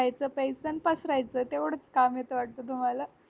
खायच पेयच आणि पसरयच तेवढंच काम येत वाटत तुम्हाला